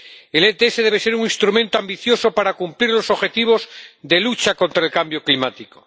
El RCDE debe ser un instrumento ambicioso para cumplir los objetivos de lucha contra el cambio climático